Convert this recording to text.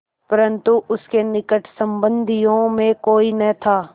परन्तु उसके निकट संबंधियों में कोई न था